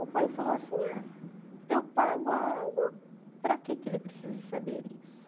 O pai falou assim, ah eu pago a água, para que ele precisa saber isso?